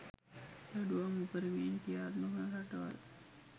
දඬුවම් උපරිමයෙන් ක්‍රියාත්මක වන රටවල